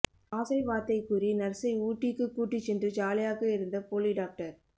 ஆசை வார்த்தை கூறி நர்சை ஊட்டிக்குக் கூட்டிச் சென்று ஜாலியாக இருந்த போலி டாக்டர்